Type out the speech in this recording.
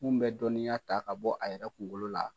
Mali un bɛ dɔnniya ta ka bɔ a yɛrɛ kungo la